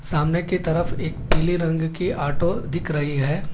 सामने की तरफ एक पीले रंग की ऑटो दिख रही है।